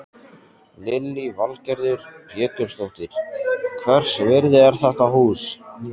Lillý Valgerður Pétursdóttir: Hvers virði er þetta hús?